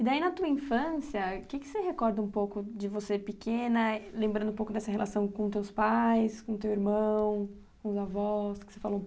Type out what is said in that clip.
E daí, na tua infância, o que que você recorda um pouco de você pequena, lembrando um pouco dessa relação com os teus pais, com o teu irmão, com os avós, que você falou